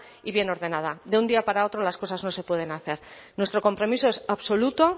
y bien ordenada de un día para otro las cosas no se pueden hacer nuestro compromiso es absoluto